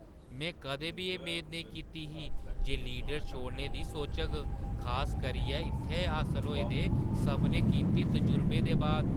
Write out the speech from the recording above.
में कदें बी एह् मेद नेईं कीती ही जे लीडर छोड़ने दी सोचग, खास करियै इत्थै हासल होए दे सभनें कीमती तजुर्बें दे बाद।